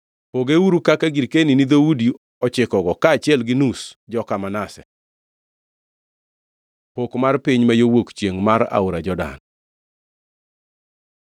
Pogeuru kaka girkeni ni dhoudi ochikogo, kaachiel gi nus joka Manase.” Pok mar piny ma yo wuok chiengʼ mar Aora Jordan